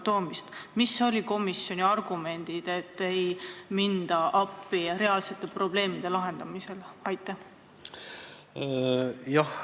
Millised olid komisjoni argumendid, et nende reaalsete probleemide lahendamisel appi ei minda?